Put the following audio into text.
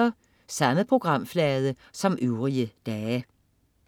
Samme programflade som øvrige dage